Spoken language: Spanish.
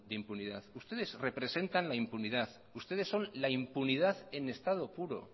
impunidad ustedes representan la impunidad ustedes son la impunidad en estado puro